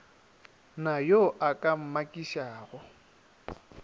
na yo a ka mmakišago